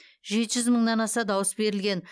жеті жүз мыңнан аса дауыс берілген